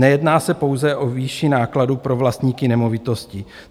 Nejedná se pouze o výši nákladů pro vlastníky nemovitostí.